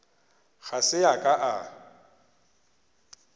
ga se a ka a